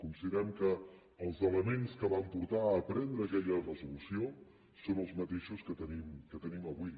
considerem que els elements que van portar a prendre aquella resolució són els mateixos que tenim avui